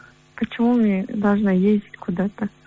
почему мне должна ездить куда то